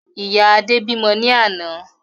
Ìyá Adé bímọ ní àná